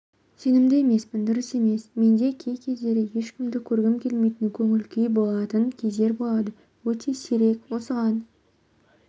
сенімді емеспін дұрыс емес менде кей-кездері ешкімді көргім келмейтін көңіл-күй болатын кездер болады өте сирек осыған